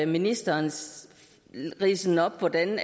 ministerens ridse op hvordan